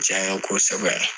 Caya kosɛbɛ